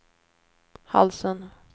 halsen